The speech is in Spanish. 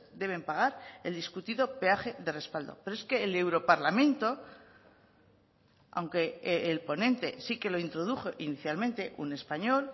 deben pagar el discutido peaje de respaldo pero es que el europarlamento aunque el ponente sí que lo introdujo inicialmente un español